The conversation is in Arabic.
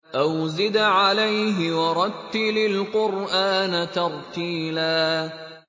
أَوْ زِدْ عَلَيْهِ وَرَتِّلِ الْقُرْآنَ تَرْتِيلًا